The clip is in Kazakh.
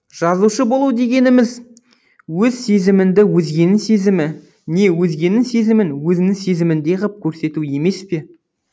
жазушы болу дегеніміз өз сезіміңді өзгенің сезімі не өзгенің сезімін өзіңнің сезіміңдей ғып көрсету емес пе